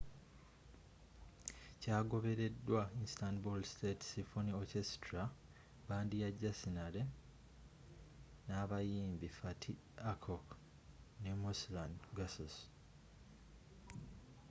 kyagobereddwa istanbul state symphony orchestra bbandi ya janissary n’abayimbi fatih erkoç ne müslüm gürses